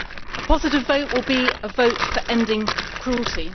A positive vote will be a vote for ending cruelty.